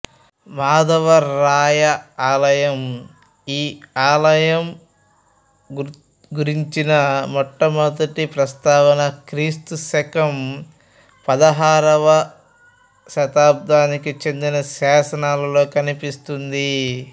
మాధవరాయ ఆలయం ఈ ఆలయం గురించిన మొట్టమొదటి ప్రస్తావన క్రీ శ పదహారవ శతాబ్దానికి చెందిన శాసనాలలో కనిపిస్తుంది